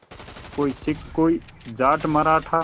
कोई सिख कोई जाट मराठा